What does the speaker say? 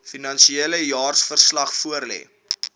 finansiële jaarverslag voorlê